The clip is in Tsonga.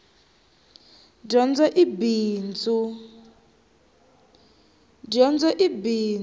dyondzo i bindzu